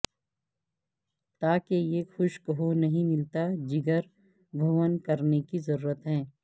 تا کہ یہ خشک ہو نہیں ملتا جگر بھون کرنے کی ضرورت ہے